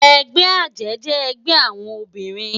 Ègbè àjè jè ègbè áwòn óbirin